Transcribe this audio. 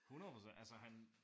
100% altså han